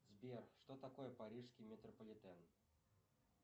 сбер что такое парижский метрополитен